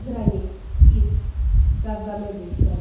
Qranik, İs, Qavqamel döyüşləri.